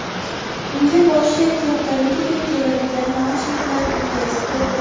Unga boshi kattaligidek keladigan naushniklar yetkazib berildi .